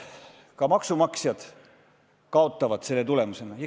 Ka maksumaksjad kaotavad selle tagajärjel.